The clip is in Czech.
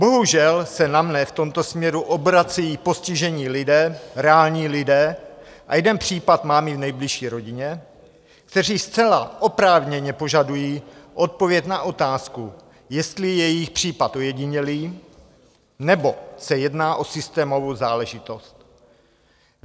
Bohužel se na mne v tomto směru obracejí postižení lidé, reální lidé, a jeden případ mám i v nejbližší rodině, kteří zcela oprávněně požadují odpověď na otázku, jestli je jejich případ ojedinělý, nebo se jedná o systémovou záležitost.